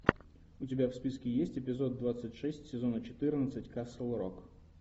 у тебя в списке есть эпизод двадцать шесть сезона четырнадцать касл рок